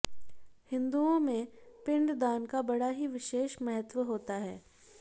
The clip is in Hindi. हिन्दूओं में पिंडदान का बड़ा ही विशेष महत्व होता है